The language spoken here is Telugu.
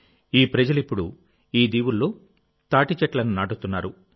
ఈ ప్రజలు ఇప్పుడు ఈ దీవుల్లో తాటి చెట్లను నాటుతున్నారు